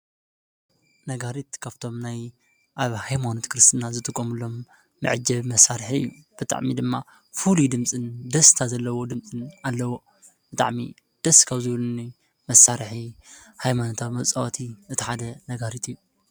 ነጋሪት ካብቶም ናይ ሃይማኖት ክርስትና መዐጀቢ መሳሪሒ እዩ ፣ ብጣዕሚ እዩ ድማ ፉሉይ ድምፂ ደስታ ዘለዎ ድምፂ ዘለዎ ብጣዕሚ ደስ ካብ ዝብሉኒ መሳርሒ ሃይመኖታዊ መጋሪት ካብቶም ናይ ሃይማኖት ክርስትና መዐጀቢ መሳሪሒ እዩ ።ብጣዕሚ እዩ ድማ ፉሉይ ድምፂ ደስታ ዘለዎ ድምፂ ዘለዎ ብጣዕሚ ደስ ካብ ዝብሉኒ መሳርሒ ሃይመኖታዊ መፃወቲ እቲ ሓደ ነጋሪት እዩ።